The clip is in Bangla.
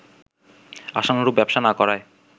আশানুরূপ ব্যবসা না করায়